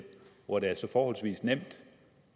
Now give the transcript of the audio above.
hvor det er så forholdsvis nemt